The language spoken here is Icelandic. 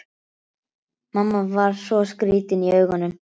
Mamma var svo skrýtin í augunum.